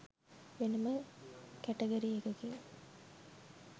වෙනම කැටගරි එකකින්